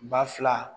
Ba fila